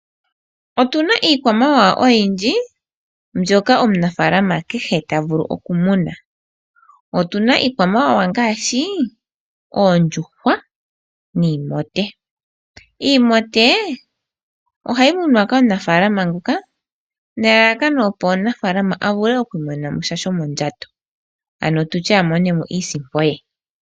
Otuna iikwamawawa oyindji mbyoka omunafaalama kehe ta vulu okumuna. Otuna iikwamawawa ngaashi oondjuhwa niimote. Iimote ohayi munwa kaanafaalama nelalakano opo omunafaalama a vule okumona mo sha shomondjato, ano amone mo iisimpo ye.